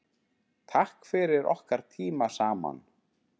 Takk fyrir okkar tíma saman.